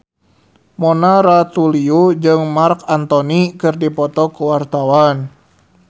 Mona Ratuliu jeung Marc Anthony keur dipoto ku wartawan